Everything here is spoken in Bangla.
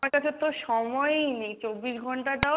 আমার কাছে তো সময়ই নেই চব্বিশ ঘণ্টাটাও,